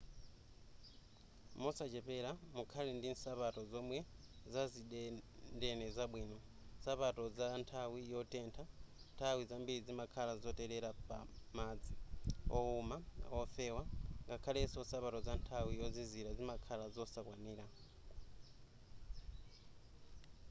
mosachepera mukhale ndi nsapato zomwe zazidendene zabwino nsapato za nthawi yotentha nthawi zambiri zimakhala zotelera pa madzi wowuma ofewa ngakhaleso nsapato za nthawi yozizira zimakhala zosakwanira